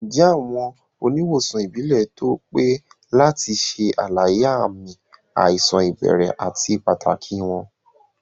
Ǹjẹ́ awọn oníwọ̀sàn ìbílẹ̀ tó pé lati ṣè alàyé awọn ààmì àìsàn ibèrè àti pàtàkì wọn?